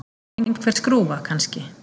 Einhver skrúfa, kannski.